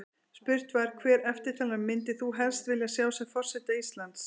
Spurt var: Hvert eftirtalinna myndir þú helst vilja sjá sem forseta Íslands?